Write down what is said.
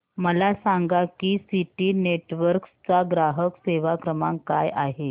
मला सांगा की सिटी नेटवर्क्स चा ग्राहक सेवा क्रमांक काय आहे